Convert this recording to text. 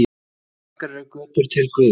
Margar eru götur til guðs.